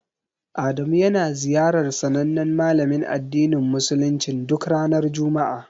Adamu yana ziyarar sanannen malamin addinin musuluncin duk ranar juma'a.